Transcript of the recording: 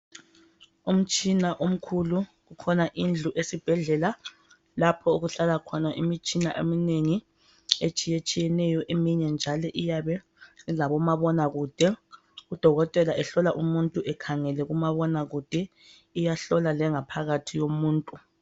Umtshina omkhulu kukhona indlu esibhedlela lapho okuhlala khona imitshina eminengi etshiyetshiyeneyo, eminye njalo iyabe ilabomabonakude, udokotela ehlola umuntu ekhangele kumabonakude iyahlola lengaphakathi yomuntu